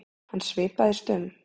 Hann svipaðist um.